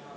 a e g